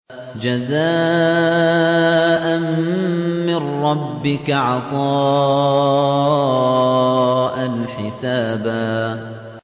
جَزَاءً مِّن رَّبِّكَ عَطَاءً حِسَابًا